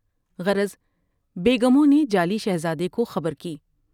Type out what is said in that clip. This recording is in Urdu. غرض بیگموں نے جعلی شہزادے کو خبر کی ۔